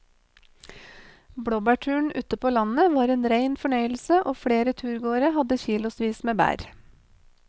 Blåbærturen ute på landet var en rein fornøyelse og flere av turgåerene hadde kilosvis med bær.